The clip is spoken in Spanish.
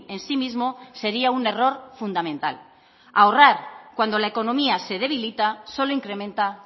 en sí mismo sería un error fundamental ahorrar cuando la economía se debilita solo incrementa